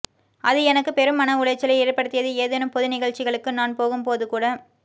அது எனக்கு பெரும் மன உளைச்சலை ஏற்படுத்தியது ஏதேனும் பொது நிகழ்ச்சிகளுக்கு நான் போகும்போது கூட